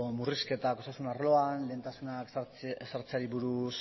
murrizketak osasun arloan lehentasuna ezartzeari buruz